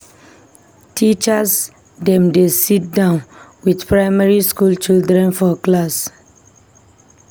Teachers dem dey siddon with primary skool children for class.